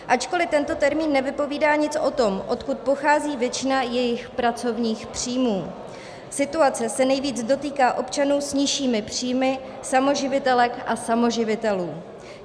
Ačkoli tento termín nevypovídá nic o tom, odkud pochází většina jejich pracovních příjmů, situace se nejvíc dotýká občanů s nižšími příjmy, samoživitelek a samoživitelů.